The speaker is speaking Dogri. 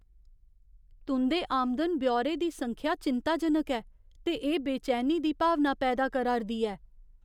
तुं'दे आमदन ब्यौरे दी संख्या चिंताजनक ऐ, ते एह् बेचैनी दी भावना पैदा करा' रदी ऐ।